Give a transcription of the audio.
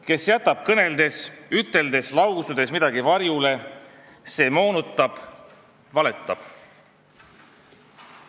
Kes jätab kõneldes, üteldes, lausudes midagi varjule, see moonutab, valetab.